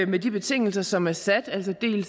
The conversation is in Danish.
med de betingelser som er sat